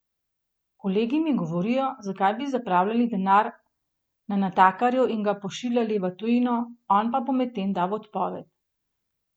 Kolegi mi govorijo, zakaj bi zapravljali denar na natakarju in ga pošiljali v tujino, on pa bo potem dal odpoved.